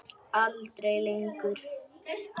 Aldrei lengur.